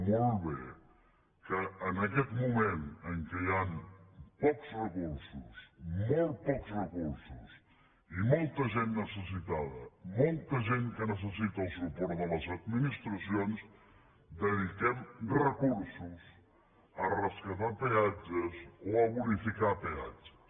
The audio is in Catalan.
molt bé que en aquest moment en què hi han pocs recursos molt pocs recursos i molta gent necessitada molta gent que necessita el suport de les administracions dediquem recursos a rescatar peatges o a bonificar peatges